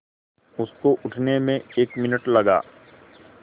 उसको उठने में एक मिनट लगा